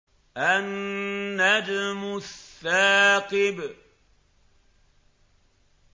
النَّجْمُ الثَّاقِبُ